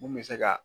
Mun bɛ se ka